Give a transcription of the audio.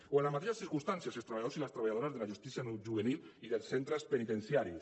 o en les mateixes circumstàncies els treballadors i les treballadores de la justícia juvenil i dels centres penitenciaris